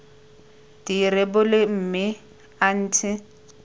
di rebole mme a ntshe